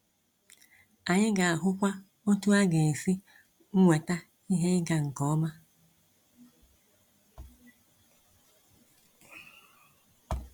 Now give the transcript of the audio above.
Anyị ga-ahụkwa otu a ga esi nweta ihe ịga nke ọma.